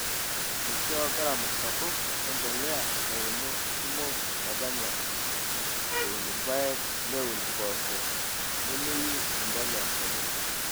Eishoo gharama sapuk e mpolea ilairemok kumok metanya eun irpaek neun mpoosho nemeyieu empolea sapuk.